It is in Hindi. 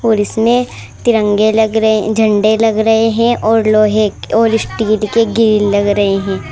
और इसमें तिरंगे लग रहे हैं झंडे लग रहे हैं और लोहे के और स्टील के ग्रिल लग रहे हैं।